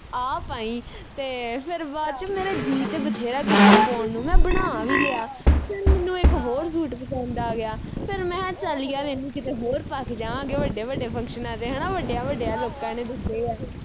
ਆਹ ਪਾਈ ਤੇ ਫਿਰ ਬਾਅਦ ਵਿਚ ਮੇਰਾ ਜੀ ਤੇ ਬਥੇਰਾ ਕੀਤਾ ਪਾਉਣ ਨੂੰ ਮੈਂ ਬਣਾ ਵੀ ਲਿਆ ਫਿਰ ਮੈਨੂੰ ਇਕ ਹੋਰ ਸੂਟ ਪਸੰਦ ਆ ਗਿਆ ਫਿਰ ਮੈਂ ਅਹ ਚੱਲ ਯਾਰ ਇਹਨੂੰ ਕਿਤੇ ਹੋਰ ਪਾ ਕੇ ਜਾਵਾਗੇ ਵੱਡੇ ਵੱਡੇ function ਤੇ ਹਣਾ ਵੱਡਿਆਂ ਵੱਡਿਆਂ ਲੋਕਾ ਨੇ ਦੱਸੇ ਆ